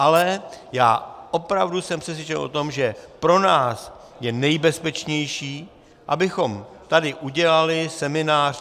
Ale já opravdu jsem přesvědčen o tom, že pro nás je nejbezpečnější, abychom tady udělali seminář.